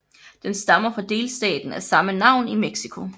Den stammer fra delstaten af samme navn i Mexico